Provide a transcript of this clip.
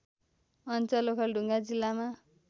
अञ्चल ओखलढुङ्गा जिल्लामा